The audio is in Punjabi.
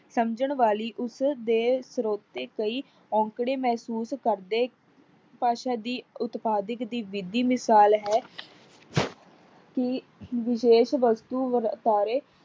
ਸਮਜਣ ਵਾਲੇ ਉਸਦੇ ਸਰੋਤੇ ਕਈ ਓਂਕੜੇ ਮਹਿਸੂਸ ਕਰਦੇ। ਭਾਸ਼ਾ ਦੀ ਉਤਪਾਧਕ ਦੀ ਵਿਧੀ ਮਿਸਾਲ ਹੈ। ਕੀ ਵਿਵੇਕ ਵਸਤੂ